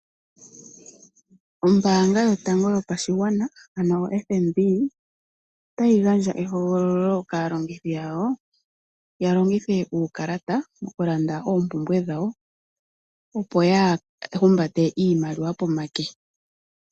Ombaanga yotango yopashigwana ano oFNB otayi gandja ehogololo kaalongithi yawo, ya longithe uukalata okulanda oompumbwe dhawo opo yaa humbate iimaliwa pomake.